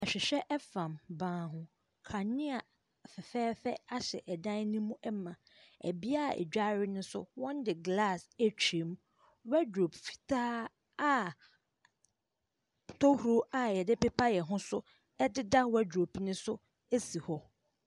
Ahwehwɛ fam ban ho. Kanea fɛɛfɛɛfɛ ahyɛ ɛdan no mu ma. Beaeɛ a yɛdware no nso wɔde glass atwam. Wardrobe fitaa a tohuro a yɛde pepa yɛn ho nso ɛdeda wardrobe no so si hɔ.